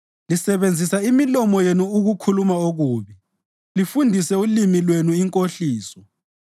Lisebenzisa imilomo yenu ukukhuluma okubi lifundise ulimi lwenu inkohliso.